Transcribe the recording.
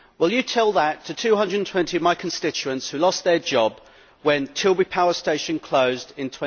Well, tell that to 220 of my constituents who lost their jobs when Tilbury power station closed in